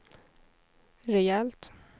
rejält